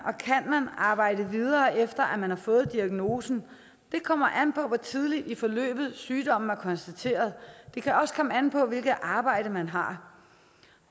arbejde videre efter at man har fået diagnosen det kommer an på hvor tidligt i forløbet sygdommen er konstateret det kan også komme an på hvilket arbejde man har